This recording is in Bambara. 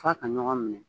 F'a ka ɲɔgɔn minɛ